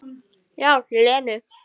Já, Lenu.